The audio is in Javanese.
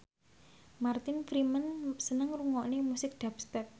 Martin Freeman seneng ngrungokne musik dubstep